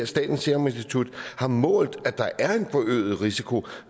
statens serum institut har målt at der er en forøget risiko